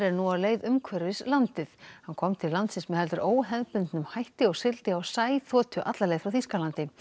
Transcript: nú á leið umhverfis landið hann kom til landsins með heldur óhefðbundnum hætti og sigldi á alla leið frá Þýskalandi